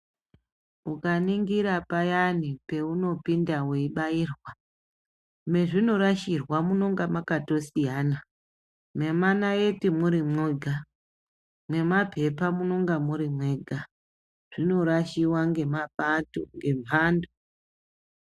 Ukaningira payani paunopinda weibairwa mwazvinorashirwa munonga mwakatosiyana memanaiti muri mwoga memapepa munenge muri moga zvinorashiwa ngemapato ngembando.